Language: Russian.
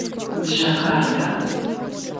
джакарта